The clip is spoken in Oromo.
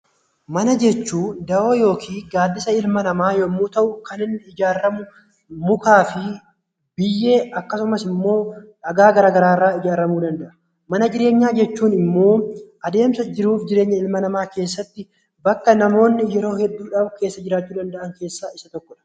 Mana jechuun dawoo yookiin gaaddisa ilma namaa yommuu ta'u kan inni ijaaramu mukaa fi biyyee akkasumas immoo dhagaa gara garaarraa ijaaramuu danda'a. Mana jireenyaa jechuun immoo adeemsa jiruuf jireenya ilma namaa keessatti bakka namoonni yeroo hedduudhaaf keessa jiraachuudhaaf keessaa isa tokkodha.